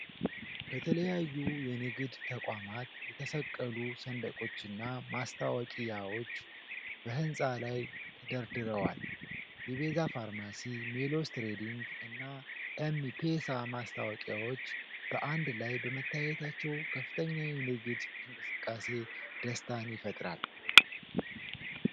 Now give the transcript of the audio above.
ከተለያዩ የንግድ ተቋማት የተሰቀሉ ሰንደቆችና ማስታወቂያዎች በሕንጻ ላይ ተደራርበዋል። የቤዛ ፋርማሲ፣ ሜሎስ ትሬዲንግ እና ኤም-ፔሳ ማስታወቂያዎች በአንድ ላይ በመታየታቸው ከፍተኛ የንግድ እንቅስቃሴ ደስታን ይፈጥራል።